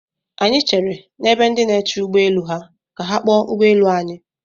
Anyị chere n'ebe ndị na-eche ụgbọ elu ha ka a kpọọ ụgbọ elu anyị.